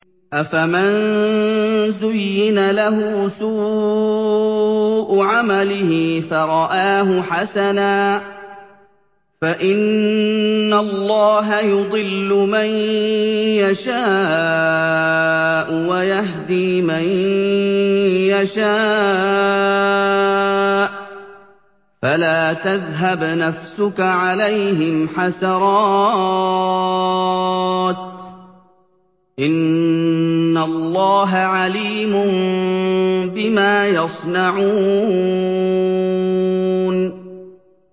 أَفَمَن زُيِّنَ لَهُ سُوءُ عَمَلِهِ فَرَآهُ حَسَنًا ۖ فَإِنَّ اللَّهَ يُضِلُّ مَن يَشَاءُ وَيَهْدِي مَن يَشَاءُ ۖ فَلَا تَذْهَبْ نَفْسُكَ عَلَيْهِمْ حَسَرَاتٍ ۚ إِنَّ اللَّهَ عَلِيمٌ بِمَا يَصْنَعُونَ